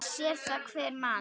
Það sér það hver maður.